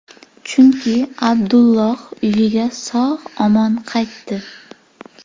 Chunki Abdulloh uyiga sog‘-omon qaytdi.